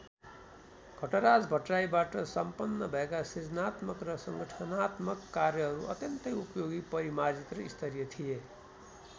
घटराज भट्टराईबाट सम्पन्न भएका सृजनात्मक र सङ्गठनात्मक कार्यहरू अत्यन्तै उपयोगी परिमार्जित र स्तरीय थिए।